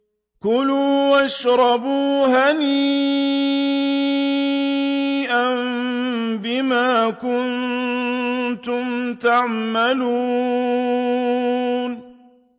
كُلُوا وَاشْرَبُوا هَنِيئًا بِمَا كُنتُمْ تَعْمَلُونَ